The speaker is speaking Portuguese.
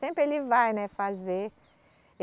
Sempre ele vai, né, fazer.